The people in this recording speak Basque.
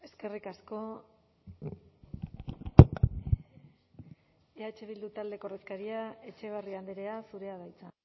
eskerrik asko eh bildu taldeko ordezkaria etxebarria andrea zurea da hitza